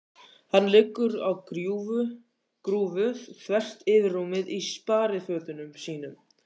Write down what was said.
Hann liggur á grúfu þvert yfir rúmið í sparifötunum sínum.